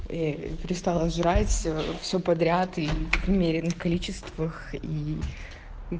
и перестала жрать все подряд и в умеренных количествах и